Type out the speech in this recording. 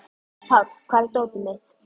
Páll, hvar er dótið mitt?